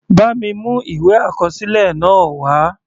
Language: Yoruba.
Bá mi mú ìwé àkọsílẹ̀ náà wá.